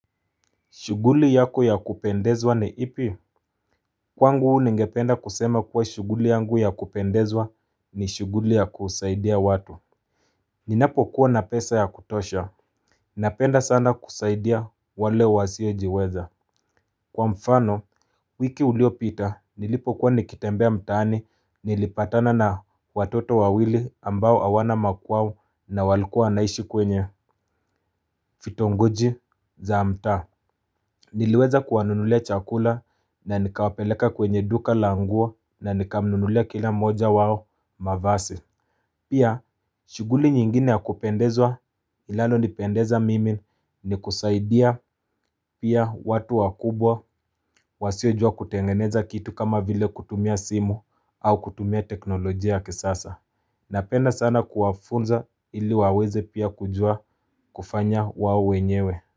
Shuguli yako ya kupendezwa ni ipi? Kwa ngu ningependa kusema kuwa shughuli yangu ya kupendezwa ni shughuli ya kusaidia watu. Ninapo kuwa na pesa ya kutosha. Napenda sana kusaidia wale wasiojiweza. Kwa mfano, wiki ulio pita, nilipo kuwa nikitembea mtaani, nilipatana na watoto wawili ambao hawana makwao na walikuwa wanaishi kwenye. Vitongoji za mtaa. Niliweza kuwanunulia chakula na nikawapeleka kwenye duka languo na nikamnulia kila moja wao mavasi. Pia, shughuli nyingine ya kupendezwa inalo nipendeza mimi ni kusaidia pia watu wakubwa wasiojua kutengeneza kitu kama vile kutumia simu au kutumia teknolojia ya kisasa. Napenda sana kuwafunza ili waweze pia kujua kufanya wao wenyewe.